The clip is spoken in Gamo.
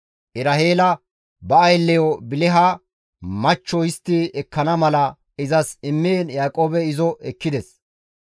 Eraheela ba aylleyo Biliha machcho histti ekkana mala izas immiin Yaaqoobey izo ekkides.